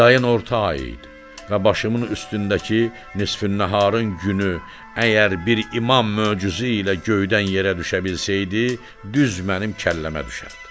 Yayın orta ayı idi və başımın üstündəki nisfin-nəharın günü əgər bir imam möcüzəsi ilə göydən yerə düşə bilsəydi, düz mənim kəlləmə düşərdi.